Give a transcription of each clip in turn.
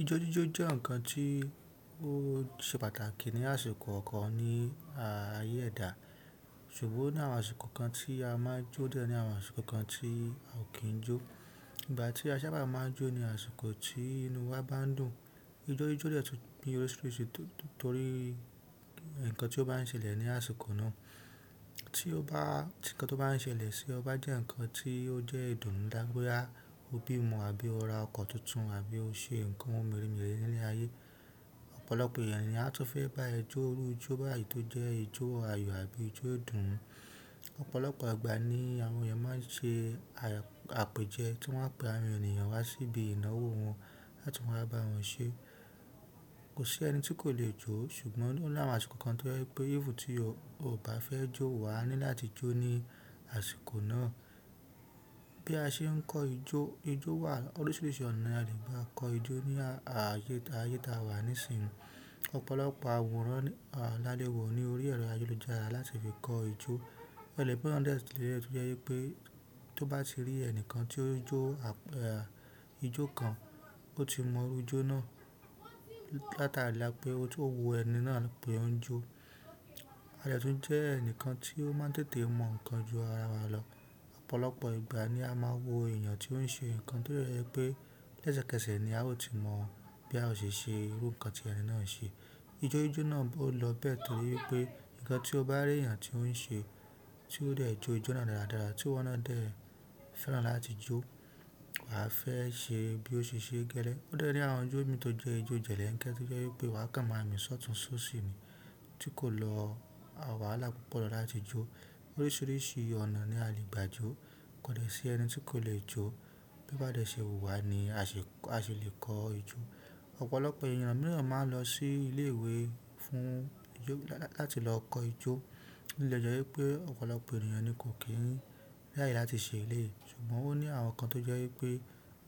Ijo jijo je nkan ti o se pàtàkì ni àsìkò okan ni aye eda ṣùgbọ́n ní àwọn àsìkò kan tí a máa jó diẹ, ní àwọn àsìkò kan tí a ò kín jó. Ìgbà tí a sábà máa n jo ni àsìkò tí inú wa bá n dùn. Ijó jíjó dè tún ní oríṣiríṣi torí nkan tí ó bá ń ṣẹlẹ̀ ní àsìkò náà. Tí nkán tó bá ń ṣẹlẹ̀ sí ọ bá jẹ́ nkán tí ó jẹ́ ìdùnnú dá boya, o bí ọmọ, a bí o ra ọkọ̀ tuntun, a bí o ṣe nǹkan meremere nile ayé, ọ̀pọ̀lọpọ̀ èèyàn ni a tún fẹ́ bá ẹ jó irú ijó báyìí tó jẹ́ ijó àyò àbí ijó ìdùnnú. Ọ̀pọ̀lọpọ̀ agbà ni àwọn èèyàn máa n ṣe àpèjẹ tí wọ́n á pe àwọn èèyàn wá sí ibi ìnáwó wọn láti wa bá wọn ṣe. Kò sí ẹni tí kò lè jó ṣùgbọ́n ó ní àwọn àsìkò kan tó jẹ́ pé even tí ọ bá fẹ́ jó wa ní láti jó ní àsìkò náà. Bí a ṣe n kọ ijó, ijó wà oríṣiríṣi ọ̀nà ni a lè gbá kọ ijó ní ayé ta wa nísìnyí. Ọ̀pọ̀lọpọ̀ àwòrán lálẹ́ wò ní orí ẹ̀rọ ayélujára láti fi kọ ijó. Ó de le jepe odẹ̀ tunri ẹni to je wipé tó bá ti rí ẹnìkan tí ó n jó ijó kan, ó ti mọ irú ijó náà látàrí pé ó tó wo ẹni náà pé ó n jó. A de tun je enikan ti o ma tètè mo ohun kan jura wa lo. Ọ̀pọ̀lọpọ̀ ìgbà ni a máa wo èèyàn tí ó ń ṣe nǹkan tó de jẹ́ pé lẹ́sẹ̀kẹsẹ̀ ni a ó ti mọ̀ bí a ó ṣe ṣe irú nǹkan tí ẹni náà n ṣe. Ijó jíjó náà bó lọ bẹ́ẹ̀ torí wipé nǹkan tí o bá rí èèyàn tí ó ń ṣe tí ó dẹ̀ jó ijó náà dáradára tí iwọ́ná dẹ̀ fẹ́ràn láti jó, wà fẹ́ ṣe bí ó ṣe ṣẹ́ gelẹ̀. Ó de ní àwọn ijó mi tó jẹ́ ijó jẹ̀lẹ́ńkẹ́ tí ó jẹ́ wipé wà kàn máa mi sọ́tùn sóṣì ni tí kò lọ wàhalá púpọ̀ lọ láti jó. Oríṣiríṣi ọ̀nà ni a lè gbà jó. Kò dẹ̀ sí ẹni tí kò lè jó. Bí a bá dẹ̀ ṣe wùwà ni a se le kọ ijó. Ọ̀pọ̀lọpọ̀ èèyàn mìràn máa n lọ sí ilé ìwé fún láti lọ kọ ijó. Ó lè jẹ́ wípé ọ̀pọ̀lọpọ̀ èèyàn ni kò kí n ràye láti ṣe eléyìí ṣùgbọ́n ó ní àwọn kan tó jẹ́ wípé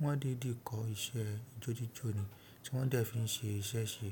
wọ́n dìdí kọ iṣẹ́ ijó jíjó ni tí wọ́n dẹ̀ fi ṣe iṣẹ́ ṣe.